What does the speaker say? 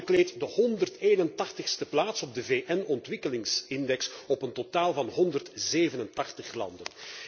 Dit land bekleedt de 181e plaats op de VN ontwikkelingsindex op een totaal van 187 landen.